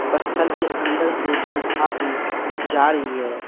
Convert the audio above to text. पत्थल के अंदर से एक गुफा भी जा रही है।